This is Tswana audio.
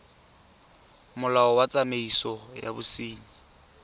molao wa tsamaiso ya bosenyi